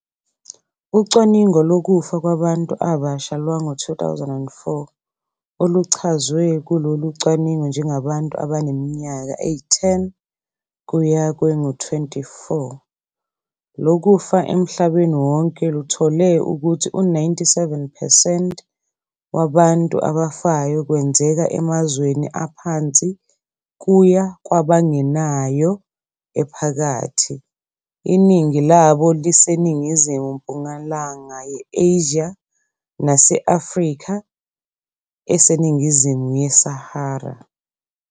Ucwaningo lokufa kwabantu abasha lwango-2004, oluchazwe kulolu cwaningo njengabantu abaneminyaka eyi-10 kuya kwengu-24, lokufa emhlabeni wonke luthole ukuthi u-97 percent wabantu abafayo kwenzeka emazweni aphansi kuya kwabangenayo ephakathi, iningi labo liseningizimu-mpumalanga ye-Asia nase-Afrika eseningizimu yeSahara.